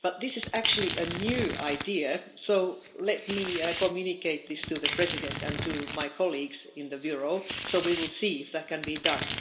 But this is actually a new idea, so let me communicate it to the President and to my colleagues in the Bureau so that we can see if that can be done.